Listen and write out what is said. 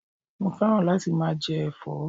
Mo féràn láti máa je èfó